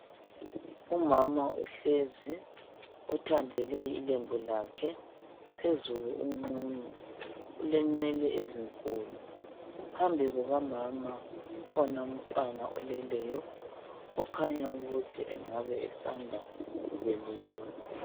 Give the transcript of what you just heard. Umama uhlezi uthandele ilembu lakhe, phezulu uqunu. Ulenwele ezinkulu. Phambi kukamama kukhona ummtwana oleleyo okhanya ukuthi engabe esanda kubelethwa .